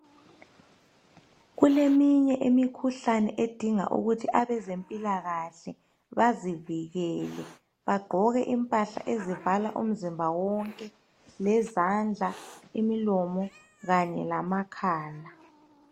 Kuleminye imikhuhlane edinga ukuthi abezempilakahle bazivikele. Bagqoke impahla ezivala umzimba wonke ,lezandla ,imilomo kanye lamakhala.